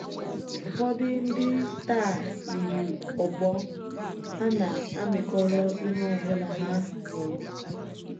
Ụfọdụ ndị taa yiri ogbo; hà na-amịkọrọ ihe ọ bụla hà nụrụ.